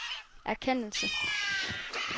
erkendelse